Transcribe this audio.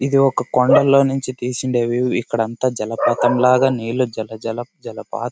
ఇది ఒక కొండలో నుంచి తీసిన వ్యూ . ఇక్కడ అంతా జలపాతం లాగా నీళ్ళు జలపాత్ --